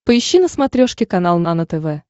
поищи на смотрешке канал нано тв